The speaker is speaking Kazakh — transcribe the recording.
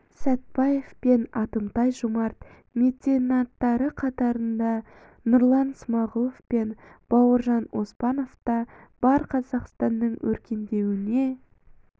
сәтпаев пен атымтай жомарт меценаттар қатарында нұрлан смағұлов пен бауржан оспанов та бар қазақстанның өркендеуіне